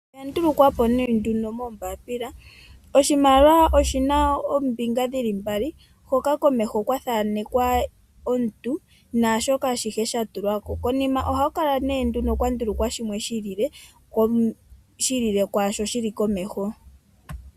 Oya ndulukwa po ne nduno moombaapila. Oshimaliwa oshina oombinga dhili mbali hoka komeho kwathanekwa omuntu naashoka ashihe shatulwa ko, konima ohakula ne nduno kwandulukwa shimwe shi ili le, shi ili le kwaashono shili komeho.